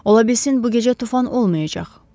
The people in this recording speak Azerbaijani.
Ola bilsin bu gecə tufan olmayacaq.